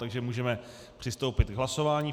Takže můžeme přistoupit k hlasování.